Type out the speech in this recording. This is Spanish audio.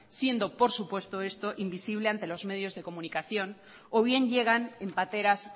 siendo por supuesto esto invisible ante los medios de comunicación o bien llegan en pateras